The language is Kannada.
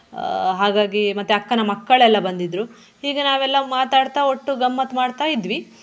ಆಹ್ ಹಾಗಾಗಿ ಮತ್ತೆ ಅಕ್ಕನ ಮಕ್ಕಳೆಲ್ಲ ಬಂದಿದ್ರು ಹೀಗೆ ನಾವೆಲ್ಲ ಮಾತಾಡ್ತಾ ಒಟ್ಟು ಗಮ್ಮತ್ ಮಾಡ್ತಾ ಇದ್ವಿ.